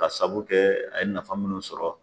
Ka sabu kɛ a ye nafan minnu sɔrɔ.